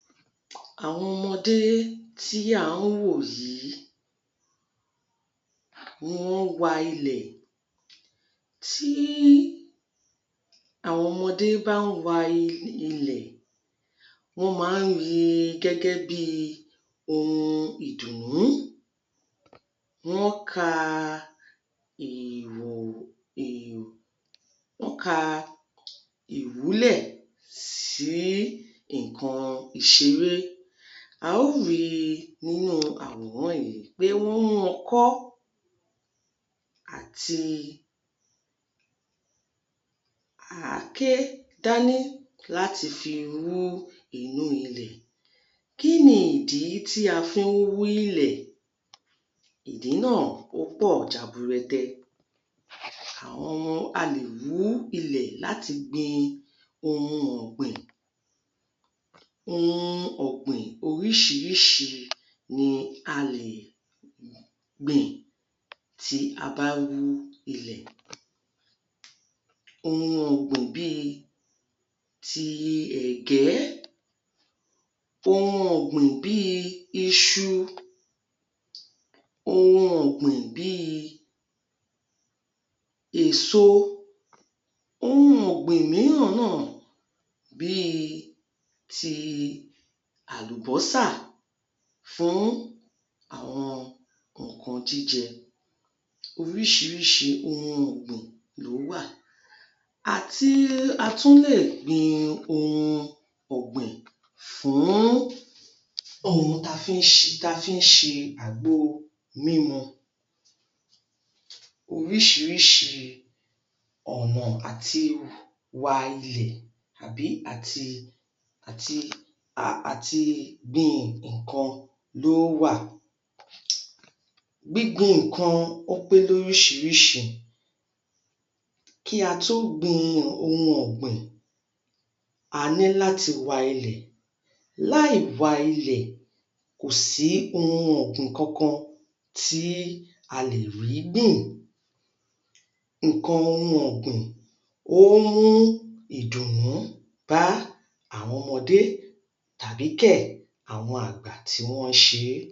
Àwọn ọmọdé tí à ń wò yìí, wọ́n wa ilẹ. Tí àwọn ọmọdé bá ń wa um ilẹ̀, wọ́n máa ń ri gẹ́gẹ́ bí ohun ìdùnnú. Wọ́n ka wọ́n ka ìwúlẹ̀ sí nǹkan ìṣeré. A ó ri nínú àwòrán yìí pé wọ́n mú ọkọ̀ àti àáké dání láti fi wú inú ilẹ̀. Kí ni ìdí tí a fi ń wú ilẹ̀? Ìdí náà ó pọ̀ jaburẹtẹ. A lè wú ilẹ̀ láti gbin ohun ọ̀gbìn. Ohun ọ̀gbìn oríṣiríṣi ni a lè gbìn tí a bá wú ilẹ̀. Ohun ọ̀gbìn bíi ti ẹ̀gẹ́, ohun ọ̀gbìn bíi iṣu, ohun ọ̀gbìn bíi èso. Ohun ọ̀gbìn míràn náà bíi ti àlùbọ́sà fún àwọn nǹkan jíjẹ. Oríṣiríṣi ohun ọ̀gbìn ló wà. A tún lè gbin ohun ọ̀gbìn fún ohun ta fi ń ta fi ń ṣe àgbo mímu. Oríṣiríṣi àbí àti àti àti gbin nǹkan ló wà. Gbígbin nǹkan ó pé lóríṣiríṣi, kí a tó gbin ohun ọ̀gbìn, a ní láti wa ilẹ̀. Láìwa ilẹ̀, kò sí ohun ọ̀gbìn kankan tí a lè rí gbìn. Nǹkan ohun ọ̀gbìn ó ń mú ìdùnnú bá àwọn ọmọdé tàbí kẹ̀ àwọn àgbà tí wọ́n ń ṣe é.